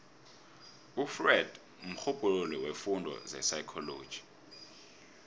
ufreud mrhubhululi weemfundo zepsychology